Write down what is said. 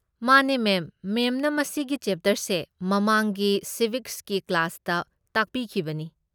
ꯃꯥꯅꯦ, ꯃꯦꯝ꯫ ꯃꯦꯝꯅ ꯃꯁꯤꯒꯤ ꯆꯦꯞꯇꯔꯁꯦ ꯃꯃꯥꯡꯒꯤ ꯁꯤꯕꯤꯛꯁꯀꯤ ꯀ꯭ꯂꯥꯁꯇ ꯇꯥꯛꯄꯤꯈꯤꯕꯅꯤ꯫